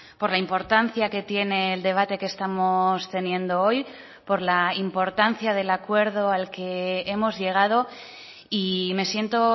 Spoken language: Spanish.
por la importancia que tiene el debate que estamos teniendo hoy por la importancia del acuerdo al que hemos llegado y me siento